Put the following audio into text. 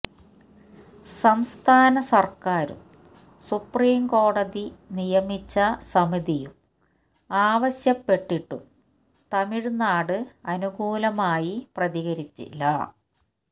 സംസ്ഥാന സര്ക്കാരും സുപ്രീം കോടതി നിയമിച്ച സമിതിയും ആവശ്യപ്പെട്ടിട്ടും തമിഴ്നാട് അനുകൂലമായി പ്രതികരിച്ചില്ല